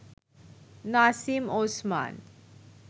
Nasim Osman